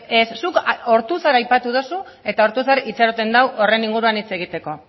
ez zuk ortuzar aipatu duzu eta ortuzar itxaroten dago horren inguruan hitz egiteko